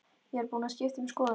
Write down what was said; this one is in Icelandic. Ég er búin að skipta um skoðun.